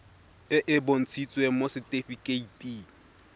e e bontshitsweng mo setifikeiting